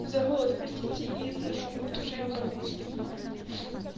за голос простите и за шум потому что я в больнице